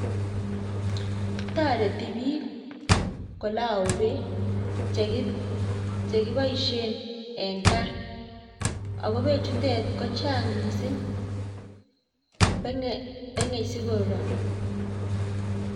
Toreti biik kolou beek cheki chekiboisien en gaa, ago beek chutet ko chang missing peng'e peng'e sikoror.